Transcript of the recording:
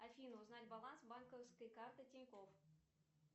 афина узнать баланс банковской карты тинькофф